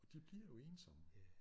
Og de bliver jo ensomme